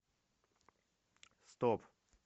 стоп